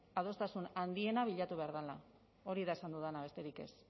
adostasun handiena bilatu behar dela hori da esan dudana besterik ez